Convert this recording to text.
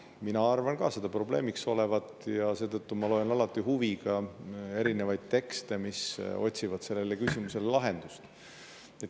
Mina arvan ka seda probleemiks olevat ja seetõttu loen alati huviga erinevaid tekste, mis otsivad sellele küsimusele lahendust.